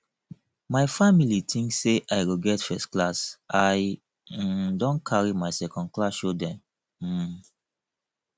my family tink sey i go get firstclass i um don carry my secondclass show dem um